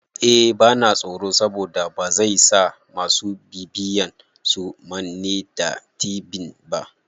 Eh bana tsoro saboda bazai sa masu bibiyan su manne da tibin ba